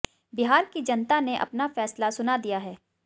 बिहार की जनता ने अपना फैसला सुना दिया है